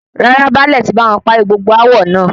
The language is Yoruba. Rárá, báálè tí báwọn parí gbogbo aawọ naa